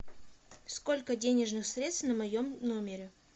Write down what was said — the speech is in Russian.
сколько денежных средств на моем номере